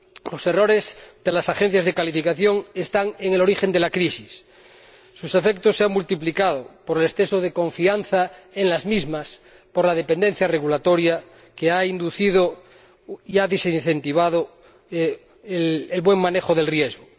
Los errores de las agencias de calificación están en el origen de la crisis, sus efectos se han multiplicado por el exceso de confianza en las mismas, por la dependencia regulatoria, que ha desincentivado el buen manejo del riesgo.